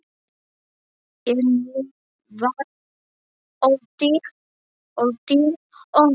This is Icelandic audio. En nú var öldin önnur.